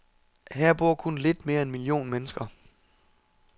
Her bor kun lidt mere end en million mennesker.